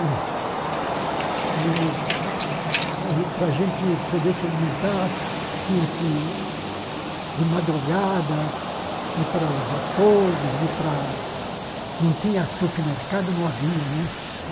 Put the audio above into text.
E aí para a gente poder se alimentar, tinha que ir de madrugada, ir para os açougues, ir para... Não tinha supermercado, não havia, né?